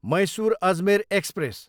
Mysore, Ajmer express